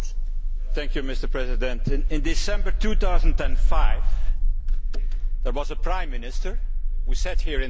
Mr President, in December 2005, there was a Prime Minister who sat here in the House.